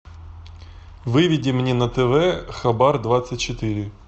выведи мне на тв хабар двадцать четыре